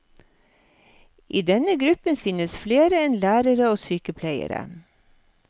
I denne gruppen finnes flere enn lærere og sykepleiere.